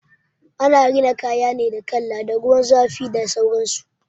Ana rina kaya ne da kala, da ruwan zafin da sauransu.